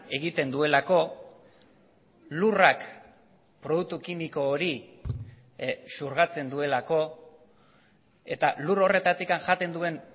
egiten duelako lurrak produktu kimiko hori xurgatzen duelako eta lur horretatik jaten duen